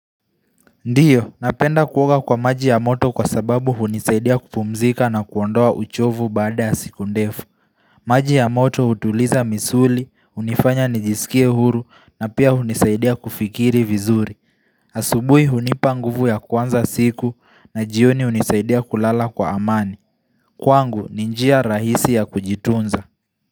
Ndiyo, napenda kuoga kwa maji ya moto kwa sababu hunisaidia kupumzika na kuondoa uchovu baada ya siku ndefu. Maji ya moto utuliza misuli, unifanya nijisikie huru na pia hunisaidia kufikiri vizuri. Asubuhi hunipanguvu ya kuanza siku na jioni hunisaidia kulala kwa amani. Kwangu ninjia rahisi ya kujitunza.